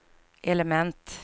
element